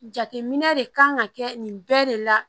Jateminɛ de kan ka kɛ nin bɛɛ de la